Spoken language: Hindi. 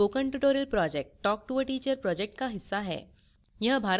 spoken tutorial project talktoa teacher project का हिस्सा है